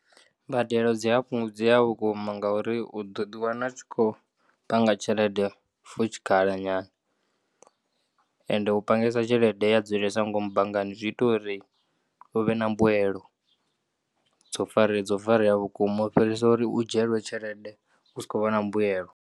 Mbadelo dziyafhungudzeya vhukuma ngauri uḓo ḓiwana utshikho panga tshelede for tshikhala nyana ende upangesa tshelede yadzulesa ngomu banngani zwiita uri uvhe na mbuelo dzo fare, dzo fareya vhukuma u fhirisa uri u dzhielwe tshelede usi khovha na mbuelo.